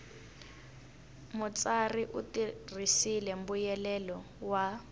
mutsari u tirhisile mbuyelelo wa